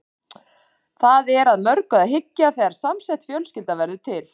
Það er að mörgu að hyggja þegar samsett fjölskylda verður til.